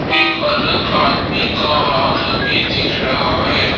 एक अलग आदमी का हाथ हमें दिख रहा है।